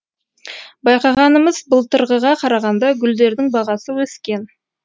байқағанымыз былтырғыға қарағанда гүлдердің бағасы өскен